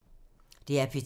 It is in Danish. DR P2